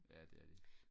ja det er de